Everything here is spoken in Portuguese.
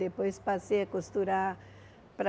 Depois passei a costurar para...